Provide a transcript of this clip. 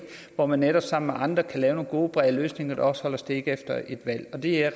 hvor man netop sammen med andre kan lave nogle gode brede løsninger der også holder stik efter et valg og det er